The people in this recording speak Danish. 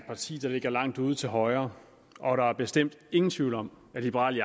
parti der ligger langt ude til højre og der er bestemt ingen tvivl om at liberal